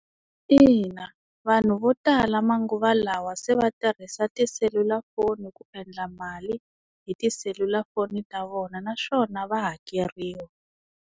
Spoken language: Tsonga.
Ina, vanhu vo tala manguva lawa se va tirhisa tiselulafoni ku endla mali hi tiselulafoni ta vona naswona va hakeriwa.